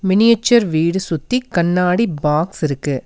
Miniature வீடு சுத்தி கண்ணாடி பாக்ஸ் இருக்கு.